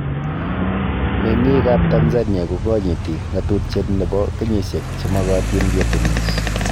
Meng'iik ab Tanzania ko ganyiiti ng'atutiet nebo kenyishek che magatiin ketunis